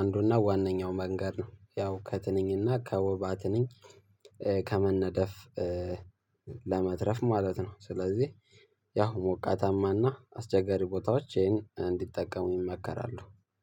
አንዱና ዋነኛው መንገድ ነው። ያው ከትንኝና ከወባ ትንኝ ከመነደፍ ለመትረፍ ማለት ነው። ስለዚህ ያው ሞቃታማና አስቸጋሪ ቦታዎች ይሄን እንዲጠቀሙ ይመከራሉ።